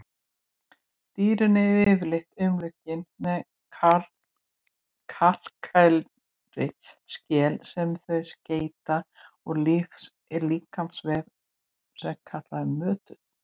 Dýrin eru yfirleitt umlukin með kalkkenndri skel sem þau seyta úr líkamsvef sem kallast möttull.